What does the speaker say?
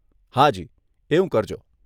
હાજી, એવું કરજો.